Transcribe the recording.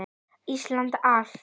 Íslandi allt!